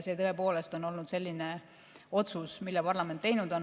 See on tõepoolest olnud otsus, mille parlament on teinud.